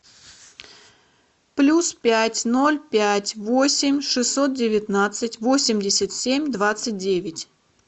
плюс пять ноль пять восемь шестьсот девятнадцать восемьдесят семь двадцать девять